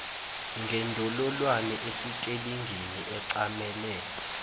ngendololwane esitelingini ecamele